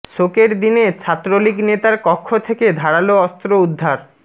শোকের দিনে ছাত্রলীগ নেতার কক্ষ থেকে ধারালো অস্ত্র উদ্ধার